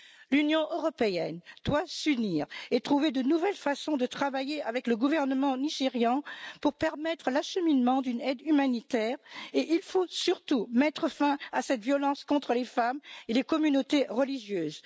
L'Union européenne doit s'unir et trouver de nouvelles façons de travailler avec le gouvernement nigérian pour permettre l'acheminement d'une aide humanitaire, et il faut surtout mettre fin à cette violence contre les femmes et les communautés religieuses.